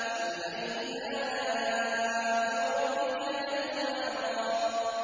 فَبِأَيِّ آلَاءِ رَبِّكَ تَتَمَارَىٰ